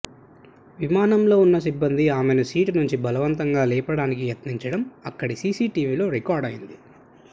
విమానంలో ఉన్న సిబ్బంది ఆమెను సీటు నుంచి బలవంతంగా లేపడానికి యత్నించడం అక్కడి సీసీటీవీలో రికార్డయింది